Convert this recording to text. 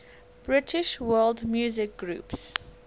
british world music groups